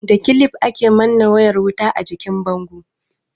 Da kilif, ake manne wayar wuta a jikin bango.